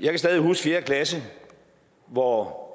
jeg kan stadig huske fjerde klasse hvor